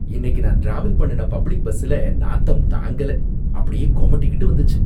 இன்னைக்கு நான் ட்ராவல் பண்ணுன பப்ளிக் பஸ்ஸுல நாத்தம்தாங்கல அப்படியே கொமட்டிகிட்டு வந்துச்சு.